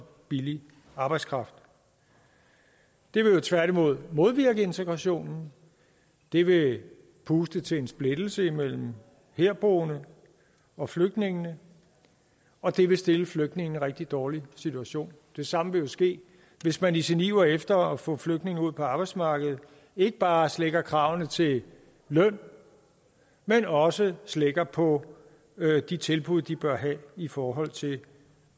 billig arbejdskraft det vil jo tværtimod modvirke integration det vil puste til en splittelse mellem herboende og flygtninge og det vil stille flygtningene rigtig dårlig situation det samme vil jo ske hvis man i sin iver efter at få flygtninge ud på arbejdsmarkedet ikke bare slækker kravene til løn men også slækker på de tilbud de bør have i forhold til